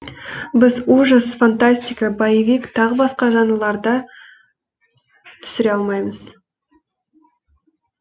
біз ужас фантастика боевик тағы басқа жанрларда түсіре алмаймыз